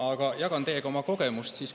Aga jagan teiega oma kogemust.